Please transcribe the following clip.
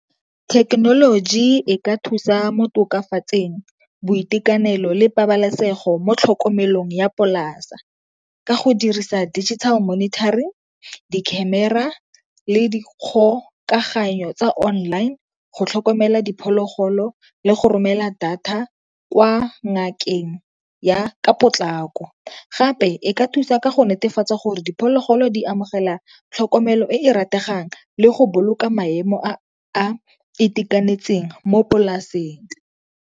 Thekenoloji e ka thusa mo tokafatseng boitekanelo le pabalesego mo tlhokomelong ya polasa, ka go dirisa digital monitoring, di-camera, le di kgokaganyo tsa online go tlhokomela diphologolo le go romela data kwa ngakeng ya ka potlako. Gape e ka thusa ka go netefatsa gore diphologolo di amogela tlhokomelo e e rategang le go boloka maemo a a itekanetseng mo polaseng.